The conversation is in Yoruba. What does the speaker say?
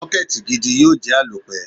Sọ́kẹ́tì gidi yóò jẹ́ àlòpẹ́.